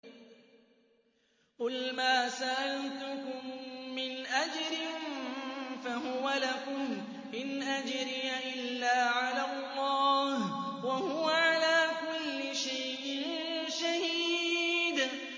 قُلْ مَا سَأَلْتُكُم مِّنْ أَجْرٍ فَهُوَ لَكُمْ ۖ إِنْ أَجْرِيَ إِلَّا عَلَى اللَّهِ ۖ وَهُوَ عَلَىٰ كُلِّ شَيْءٍ شَهِيدٌ